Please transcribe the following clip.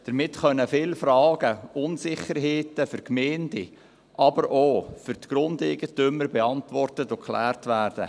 Damit können viele Fragen und Unsicherheiten für die Gemeinden, aber auch für die Grundeigentümer beantwortet und geklärt werden;